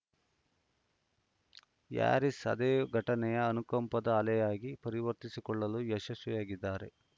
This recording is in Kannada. ಹ್ಯಾರಿಸ್‌ ಅದೇ ಘಟನೆಯನ್ನು ಅನುಕಂಪದ ಅಲೆಯಾಗಿ ಪರಿವರ್ತಿಸಿಕೊಳ್ಳಲು ಯಶಸ್ವಿಯಾಗಿದ್ದಾರೆ